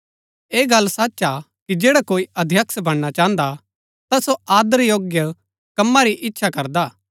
ऐह गल्ल सच हा कि जैडा कोई अध्यक्ष बणना चाहन्दा हा ता सो आदर योग्य कमा री ईच्‍छा करदा